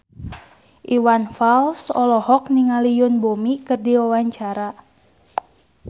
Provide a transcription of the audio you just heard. Iwan Fals olohok ningali Yoon Bomi keur diwawancara